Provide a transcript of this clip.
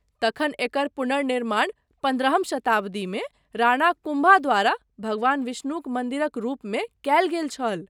तखन एकर पुनर्निर्माण पन्द्रहम शताब्दीमे राणा कुम्भा द्वारा भगवान विष्णुक मन्दिरक रूपमे कयल गेल छल।